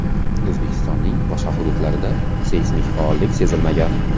O‘zbekistonning boshqa hududlarida seysmik faollik sezilmagan.